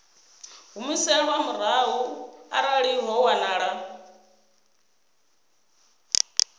humiselwa murahu arali ho wanala